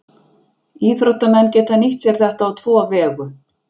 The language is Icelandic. Íþróttamenn geta nýtt sér þetta á tvo vegu.